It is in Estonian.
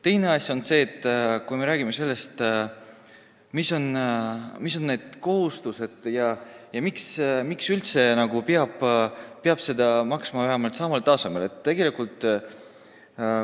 Teine asi on see, kui me räägime kohustustest ja sellest, miks üldse peab toetusi maksma vähemalt samal tasemel.